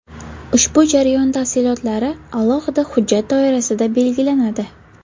Ushbu jarayon tafsilotlari alohida hujjat doirasida belgilanadi.